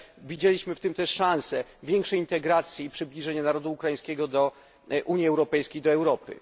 Widzieliśmy w tym też szansę większej integracji i przybliżenia narodu ukraińskiego do Unii Europejskiej, do Europy.